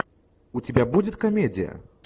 у тебя будет комедия